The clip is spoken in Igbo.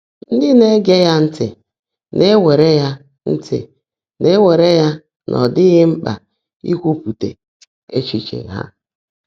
Ndị́ ná-ège yá ntị́ ná-èwèèré yá ntị́ ná-èwèèré yá ná ọ́ ḍị́ghị́ mkpã íkwuúpụ́tá échíché há.